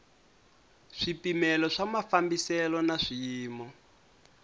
swipimelo swa mafambiselo na swiyimo